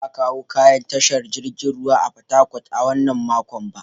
Ba a kawo kaya tashar jirgin ruwa a Fatakwal a wannan makon ba.